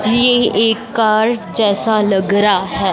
ये एक कार्ड जैसा लग रहा है।